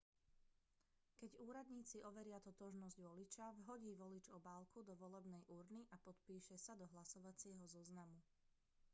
keď úradníci overia totožnosť voliča vhodí volič obálku do volebnej urny a podpíše sa do hlasovacieho zoznamu